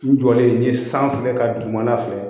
N jɔlen sanfɛ ka don dugumana fɛ